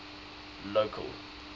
local